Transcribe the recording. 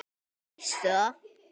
Veistu það?